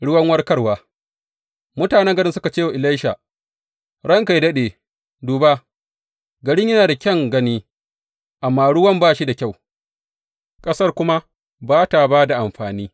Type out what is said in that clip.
Ruwan warkarwa Mutane garin suka ce wa Elisha, Ranka yă daɗe, duba, garin yana da kyan gani, amma ruwan ba shi da kyau, ƙasar kuma ba ta ba da amfani.